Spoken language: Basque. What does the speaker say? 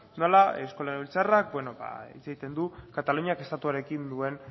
nola eusko legebiltzarrak hitz egiten du kataluniak estatuarekin duen